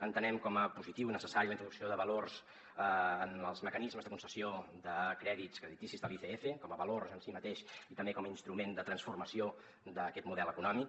entenem com a positiva i necessària la introducció de valors en els mecanismes de concessió de crèdits crediticis de l’icf com a va·lors en si mateix i també com a instrument de transformació d’aquest model econò·mic